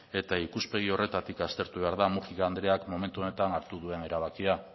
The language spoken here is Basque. eta ikuspegi horretatik aztertu behar da múgica andreak momentu honetan hartu duen erabakia